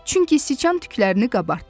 Çünki siçan tüklərini qabartdı.